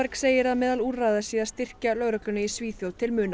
segir að meðal úrræða sé að styrkja lögregluna í Svíþjóð til muna